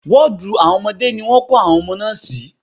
Wọ́ọ̀dù àwọn ọmọdé ni wọ́n kó àwọn ọmọ náà sí.